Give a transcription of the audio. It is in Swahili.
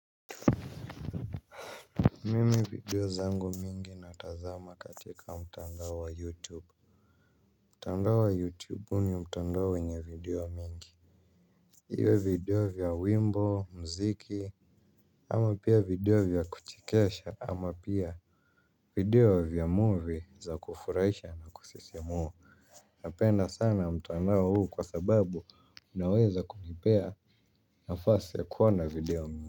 Mimi video zangu mingi natazama katika mtandao wa youtube, mtandao wa youtube huwa ni mtandao wenye video mingi. Iwe video vya wimbo, mziki, ama pia video vya kuchekesha ama pia video vya movie za kufurahisha na kusisimua. Napenda sana mtandao huu kwa sababu unaweza kunipea nafasi ya kuona video mingi.